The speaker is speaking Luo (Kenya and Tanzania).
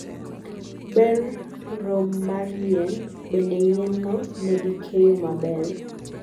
ber rom mar yien; bende yien no negikeyo maber?